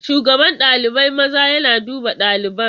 Shugaban ɗalibai maza yana duba ɗaliban.